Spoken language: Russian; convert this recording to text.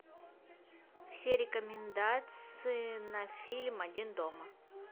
все рекомендации на фильм один дома